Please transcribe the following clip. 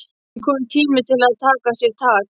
Nú er kominn tími til að taka sér tak.